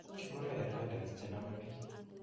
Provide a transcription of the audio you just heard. Kikure herbadens che nome biik